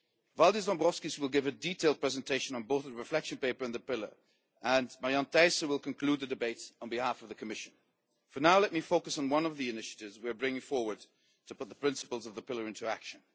Valdis Dombrovskis will give a detailed presentation on both the Reflection Paper and the Pillar, and Marianne Thyssen will conclude the debate on behalf of the Commission. For now, let me focus on one of the initiatives we are bringing forward to put the principles of the Pillar into action.